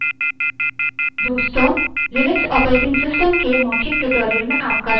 दोस्तों Linux operating system के spoken tutorial में आपका स्वागत है